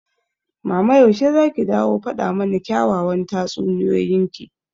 mama yaushe zaki dawo faɗa mana kyawawan tatsuniyoyin ki?